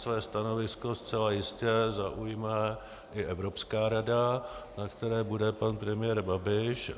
Své stanovisko zcela jistě zaujme i Evropská rada, na které bude pan premiér Babiš.